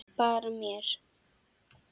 Bara mér.